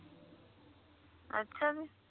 ਅੱਛਾ ਜੀ